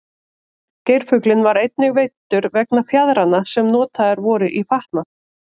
geirfuglinn var einnig veiddur vegna fjaðranna sem voru notaðar í fatnað